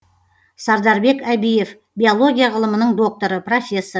сардарбек әбиев биолия ғылымның докторы профессор